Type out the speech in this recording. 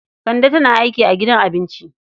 Kande tana aiki a gidan abinci.